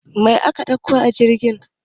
Mai aka ɗauko a jirgin?